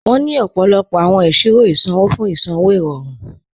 Wọn ni ọ̀pọ̀lọ̀pọ̀ awọn iṣirò isanwọ̀ fún isanwọ̀ irọ̀run.